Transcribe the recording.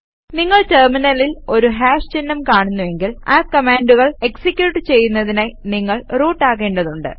നിങ്ങൾ ടെര്മിനലിൽ ഒരു ഹാഷ് ചിഹ്നം കാണുന്നുവെങ്കിൽ ആ കമാൻഡുകൾ എക്സിക്യൂട്ട് ചെയ്യുന്നതിനായി നിങ്ങൾ റൂട്ട് ആകേണ്ടതുണ്ട്